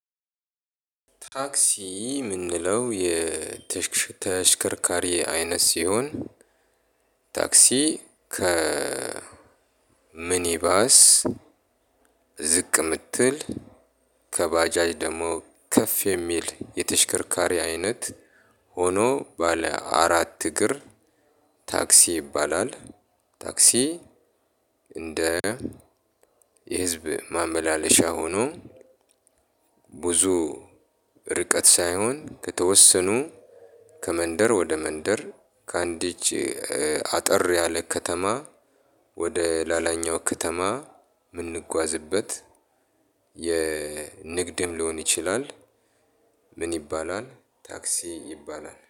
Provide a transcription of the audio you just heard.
ታክሲ የምንለው የተሽክ ተሽከርካሪ አይነት ሲሆን ታክሲ ከ ሚኒባስ ዝቅ የምትል ከባጃጅ ደግሞ ከፍ የሚል የተሽከርካሪ አይነት ሆኖ ባለ አራት እግር ታክሲ ይባላል። ታክሲ እንደ የህዝብ ማመላለሻ ሆኖ ብዙ ርቀት ሳይሆን ከተወሰኑ ከመንደር ወደ መንደር ከአንዲች አጠር ያለ ከተማ ወደ ሌላኛው ከተማ የምንጓዝበት የንግድም ሊሆን ይችላል። ምን ይባላል? ታክሲ ይባላል